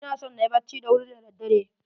Ina son na yi bacci da wuri da daddare.